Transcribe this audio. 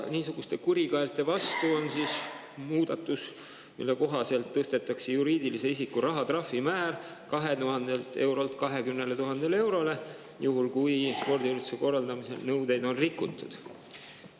Niisuguste kurikaelte vastu on muudatus, mille kohaselt tõstetakse juriidilise isiku rahatrahvi määr 2000 eurolt 20 000 eurole, juhul kui spordiürituste korraldamise nõudeid on rikutud.